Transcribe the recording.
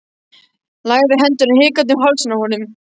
Lagði hendurnar hikandi um hálsinn á honum.